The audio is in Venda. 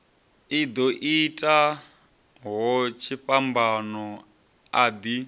ḓo itaho tshifhambano a ḓi